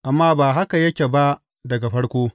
Amma ba haka yake ba daga farko.